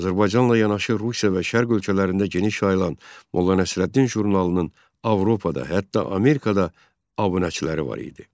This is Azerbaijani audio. Azərbaycanla yanaşı Rusiya və Şərq ölkələrində geniş yayılan "Molla Nəsrəddin" jurnalının Avropada, hətta Amerikada abunəçiləri var idi.